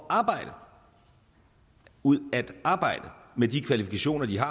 at arbejde ud at arbejde med de kvalifikationer de har